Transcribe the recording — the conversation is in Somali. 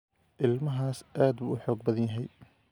Ilmahaasi aad buu u xoog badan yahay